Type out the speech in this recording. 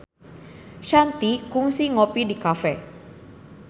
Shanti kungsi ngopi di cafe